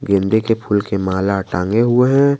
गेंदे के फूल की माला टांगे हुए हैं।